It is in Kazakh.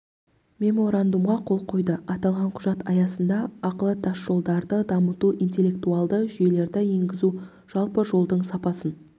меморандумға қол қойды аталған құжат аясында ақылы тасжолдарды дамыту интеллектуалды жүйелерді енгізу жалпы жолдың сапасын